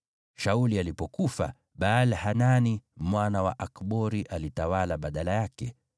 Shauli alipofariki, Baal-Hanani mwana wa Akbori akawa mfalme baada yake.